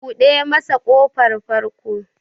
Buɗe masa ƙofar farko!